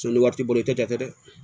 Sɔnni wari t'i bolo i tɛ kɛ dɛ